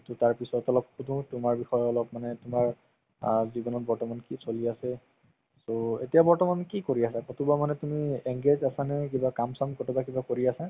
তাৰ পিছত অলপ শুধো তুমাৰ বিষয়ে অলপ মানে তুমাৰ জিৱনত বৰ্তমান কি চলি আছে so এতিয়া বৰ্তমান কি কৰি আছা ক'তো বা তুমি engaged আছা নে কিবা কাম চাম কিবা কৰি আছা